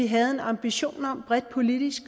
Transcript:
havde en ambition om bredt politisk